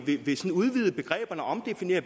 udvide begreberne og omdefinere